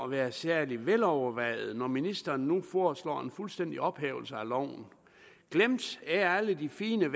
være særlig velovervejet når ministeren nu foreslår en fuldstændig ophævelse af loven glemt er alle de fine